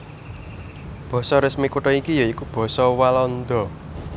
Basa resmi kutha iki ya iku basa Walanda